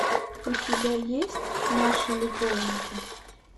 у тебя есть наши любовники